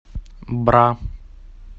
бра